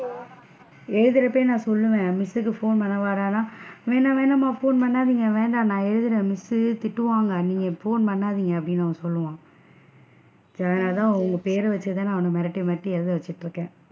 எழுதுரப்பவே நான் சொல்லுவேன் miss சுக்கு phone பன்னவாடா, வேணாம் வேணாம்மா phone பண்ணாதிங்க வேண்டாம் நான் எழுதுறேன் miss சு திட்டுவாங்க நீங்க phone பண்ணாதிங்க அப்படின்னு சொல்லுவான் so அதனால தான் உங்க பேர வச்சு தான் அவன மிரட்டி மிரட்டி எழுத வச்சிட்டு இருக்கேன்.